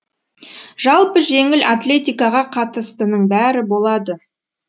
жалпы жеңіл атлетикаға қатыстының бәрі болады